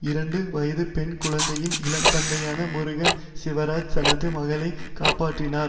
இரண்டு வயது பெண் குழந்தையின் இளம் தந்தையான முருகன் சிவராஜ் தனது மகளை காப்பாற்றினார்